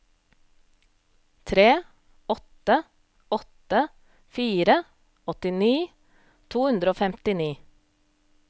tre åtte åtte fire åttini to hundre og femtini